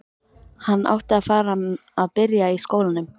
Hann átti að fara að byrja í skólanum.